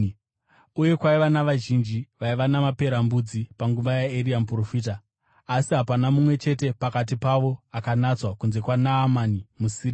Uye kwaiva navazhinji vaiva namaperembudzi panguva yaEria muprofita, asi hapana mumwe chete pakati pavo akanatswa kunze kwaNaamani muSiria.”